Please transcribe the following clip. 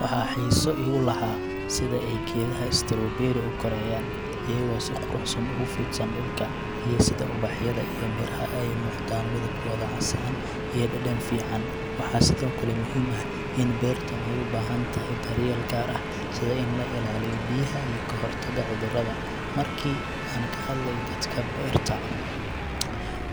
Waxa xiiso iigu lahaa sida ay geedaha strawberry u korayaan, iyagoo si quruxsan ugu fidsan dhulka, iyo sida ubaxyada iyo miraha ay u muuqdaan midabkooda casaan iyo dhadhan fiican. Waxaa sidoo kale muhiim ah in beertaan ay u baahan tahay daryeel gaar ah, sida in la ilaaliyo biyaha iyo ka hortagga cudurrada. Markii aan ka hadlay dadka beertaa,